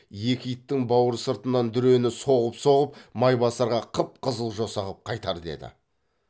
екі иттің бауыр сыртынан дүрені соғып соғып майбасарға қып қызыл жоса қып қайтар деді